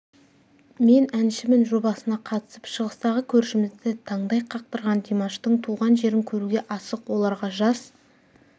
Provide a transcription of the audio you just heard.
мен әншімін жобасына қатысып шығыстағы көршімізді таңдай қақтырған димаштың туған жерін көруге асық оларға жас